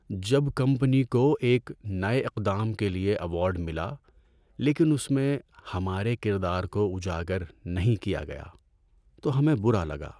جب کمپنی کو ایک نئے اقدام کے لیے ایوارڈ ملا لیکن اس میں ہمارے کردار کو اجاگر نہیں کیا گیا تو ہمیں برا لگا۔